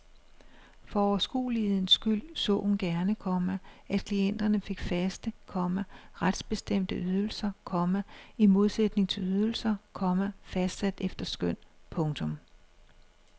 For overskuelighedens skyld så hun gerne, komma at klienterne fik faste, komma retsbestemte ydelser, komma i modsætning til ydelser, komma fastsat efter skøn. punktum